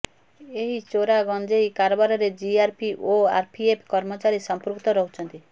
ଏହି ଚୋରା ଗଞ୍ଜେଇ କାରବାରରେ ଜିଆର୍ପି ଓ ଆର୍ପିଏଫ୍ କର୍ମଚାରୀ ସଂପୃକ୍ତ ରହୁଛନ୍ତି